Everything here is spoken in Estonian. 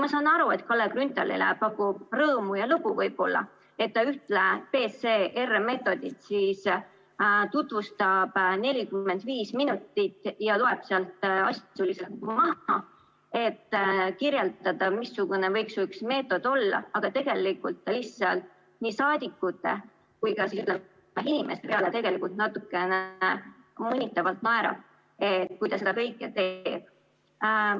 Ma saan aru, et Kalle Grünthalile pakub võib-olla rõõmu ja lõbu, et ta ühte PCR‑meetodit tutvustab 45 minutit ja loeb sealt maha, et kirjeldada, missugune võiks üks meetod olla, aga tegelikult ta lihtsalt naerab nii saadikute kui ka inimeste üle natukene mõnitavalt, kui ta seda kõike teeb.